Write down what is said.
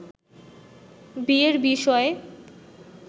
বিয়ের বিষয়ে